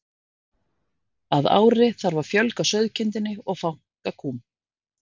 Að ári þarf að fjölga sauðkindinni og fækka kúm.